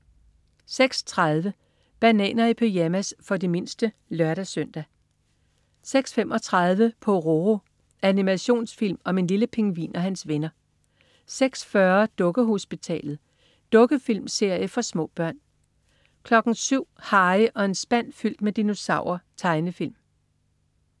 06.30 Bananer i pyjamas. For de mindste (lør-søn) 06.35 Pororo. Animationsfilm om en lille pingvin og hans venner 06.40 Dukkehospitalet. Dukkefilmserie for små børn 07.00 Harry og en spand fyldt med dinosaurer. Tegnefilm